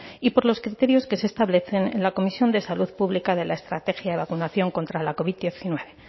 y por los criterios que se establecen en la comisión de salud pública de la estrategia de vacunación contra la covid hemeretzi